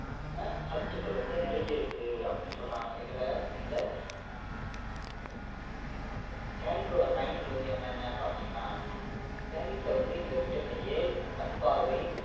ஏராளமான சத்துக்கள் வந்து நிறைஞ்சிருக்கு அப்படின்னு சொல்றாங்க எதுல இந்த carrot ல carrot ஓட பயன்கள் வந்து என்னென்ன பார்த்தீங்கன்னா carrot ல வந்து இந்த vitamin A கண்பார்வை